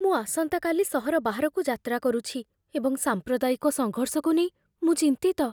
ମୁଁ ଆସନ୍ତାକାଲି ସହର ବାହାରକୁ ଯାତ୍ରା କରୁଛି ଏବଂ ସାମ୍ପ୍ରଦାୟିକ ସଙ୍ଘର୍ଷକୁ ନେଇ ମୁଁ ଚିନ୍ତିତ।